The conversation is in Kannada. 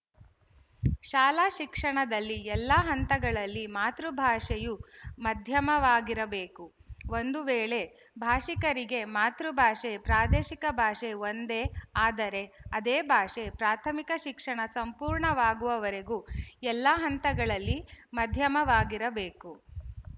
ಶಾಲಾ ಶಿಕ್ಷಣದಲ್ಲಿ ಎಲ್ಲಾ ಹಂತಗಳಲ್ಲಿ ಮಾತೃಭಾಷೆಯು ಮಾಧ್ಯಮವಾಗಿರಬೇಕು ಒಂದು ವೇಳೆ ಭಾಶಿಕರಿಗೆ ಮಾತೃಭಾಷೆ ಪ್ರಾದೇಶಿಕ ಭಾಷೆ ಒಂದೇ ಆದರೆ ಅದೇ ಭಾಷೆ ಪ್ರಾಥಮಿಕ ಶಿಕ್ಷಣ ಸಂಪೂರ್ಣವಾಗುವವರೆಗೆ ಎಲ್ಲಾ ಹಂತಗಳಲ್ಲಿ ಮಧ್ಯಮವಾಗಿರಬೇಕು